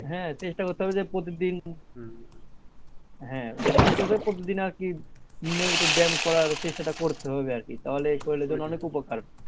হ্যাঁ চেষ্টা করতে হবে যে প্রতিদিন হ্যাঁ মানে চেষ্টা করতে হবে প্রতিদিন আরকি নিয়মিত ব্যাম করার চেষ্টাটা করতে হবে আরকি তাহলে শরীরের অনেক উপকার।